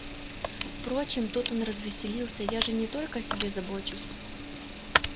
впрочем тут он развеселился я же не только о себе забочусь